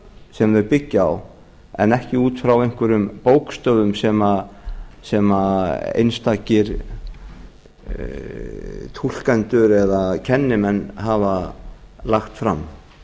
sem þau byggja en ekki út frá einhverjum bókstöfum sem einstakir túlkendur eða kennimenn hafa lagt fram